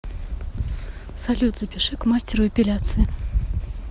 салют запиши к мастеру эпиляции